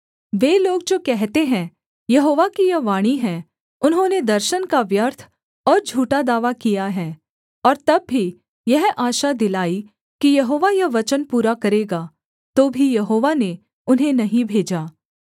वे लोग जो कहते हैं यहोवा की यह वाणी है उन्होंने दर्शन का व्यर्थ और झूठा दावा किया है और तब भी यह आशा दिलाई कि यहोवा यह वचन पूरा करेगा तो भी यहोवा ने उन्हें नहीं भेजा